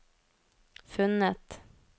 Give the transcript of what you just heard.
funnet